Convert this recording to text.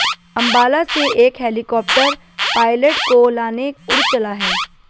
अंबाला से एक helicopter pilot को लाने उड़ चला है